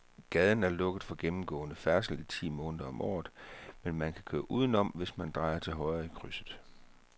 Gaden er lukket for gennemgående færdsel ti måneder om året, men man kan køre udenom, hvis man drejer til højre i krydset.